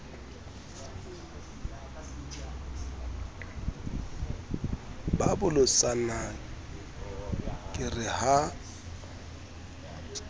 ba bolotsana ke re ha